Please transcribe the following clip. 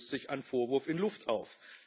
Damit löst sich ein Vorwurf in Luft auf.